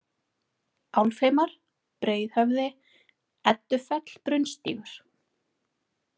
Álfheimar, Breiðhöfði, Eddufell, Brunnstígur